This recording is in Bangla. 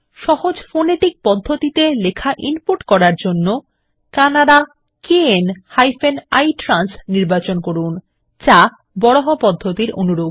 সহজ ফোনেটিক পদ্ধতিতে লেখা ইনপুট করার জন্য কান্নাডা kn ইট্রান্স নির্বাচন করুন যা বারাহা পদ্ধতির অনুরূপ